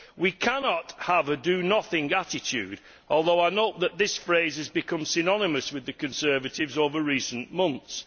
We cannot have a do nothing' attitude, although I note that this phrase has become synonymous with the Conservatives over recent months.